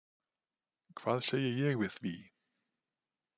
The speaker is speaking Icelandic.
Hvað segi ég við því?